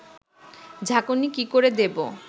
ঝাঁকুনি কি করে দেবো